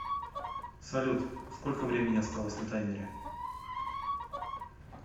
салют сколько времени осталось на таймере